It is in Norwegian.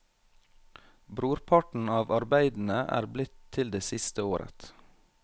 Brorparten av arbeidene er blitt til det siste året.